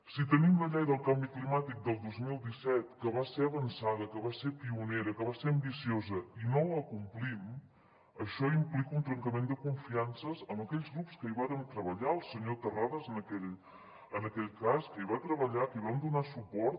si tenim la llei del canvi climàtic del dos mil disset que va ser avançada que va ser pionera que va ser ambiciosa i no la complim això implica un trencament de confiances amb aquells grups que hi varen treballar el senyor terrades en aquell cas que hi van treballar que hi vam donar suport